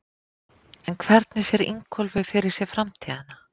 En hvernig sér Ingólfur fyrir sér framtíðina?